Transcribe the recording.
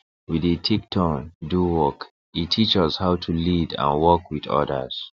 we dey take turn do work e teach us how to lead and work with others